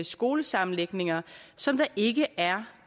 skolesammenlægninger som der ikke er